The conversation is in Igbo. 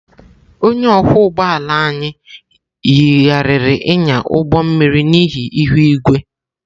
Onye ọkwọ ụgbọ ala anyị yigharịrị ịnya ụgbọ mmiri n'ihi ihu igwe.